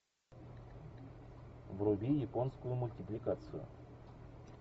вруби японскую мультипликацию